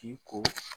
K'i ko